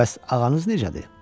Bəs ağanız necədir?